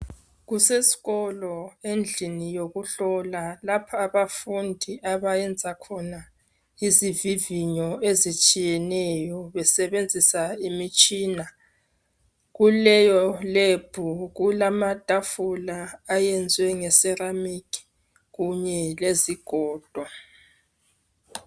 Kusesikolo endlini yokuhlola lapha abafundi abayenza khona izivivinyo ezitshiyeneyo besebenzisa imitshina. Kuleyo lebhu kulamatafula ayenzwe ngeseramikhi kunye lezigodo.